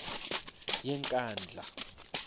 yenkandla